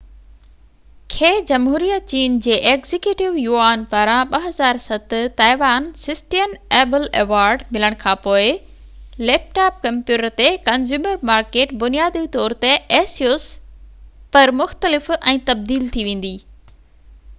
پر asus کي جمهوريه چين جي ايگزيڪيوٽو يوآن پاران 2007 تائيوان سسٽين ايبل ايوارڊ ملڻ کان پوءِ ليپ ٽاپ ڪمپيوٽر تي ڪنزيومر مارڪيٽ بنيادي طور تي مختلف ۽ تبديل ٿي ويندي